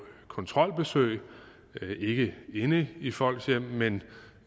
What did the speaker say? kontrolbesøg ikke inde i folks hjem men